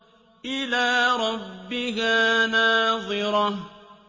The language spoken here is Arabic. إِلَىٰ رَبِّهَا نَاظِرَةٌ